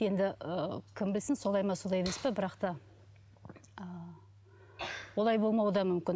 енді ы кім білсін солай ма солай емес пе бірақ та ы олай болмауы да мүмкін